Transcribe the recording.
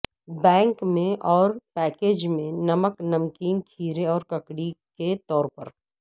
bank میں اور package میں نمک نمکین کھیرے اور ککڑی کے طور پر